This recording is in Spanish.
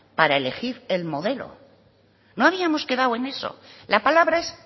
para elegir el modelo no habíamos quedado en eso la palabra es